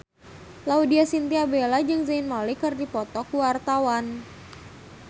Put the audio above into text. Laudya Chintya Bella jeung Zayn Malik keur dipoto ku wartawan